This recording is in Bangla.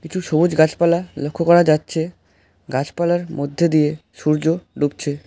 কিছু সবুজ গাছপালা লক্ষ করা যাচ্ছে গাছপালার মধ্যে দিয়ে সূর্য ডুবছে।